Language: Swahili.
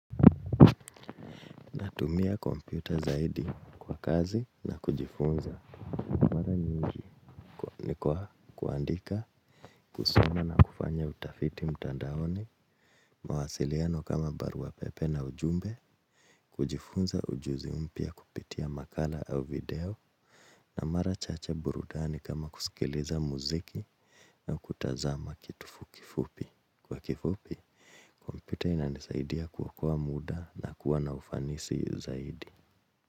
Natumia kompyuta zaidi kwa kazi na kujifunza ni kwa kuandika, kusoma na kufanya utafiti mtandaoni, mawasiliano kama barua pepe na ujumbe, kujifunza ujuzi mpya kupitia makala au video na mara chache burudani kama kusikiliza mziki na kutazama kitu fukifupi. Kwa kifupi, kompyuta inanisaidia kuokoa mda na kuwa na ufanisi zaidi.